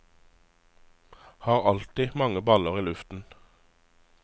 Har alltid mange baller i luften.